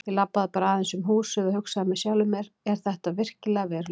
Ég labbaði bara aðeins um húsið og hugsaði með sjálfum mér: Er þetta virkilega veruleikinn?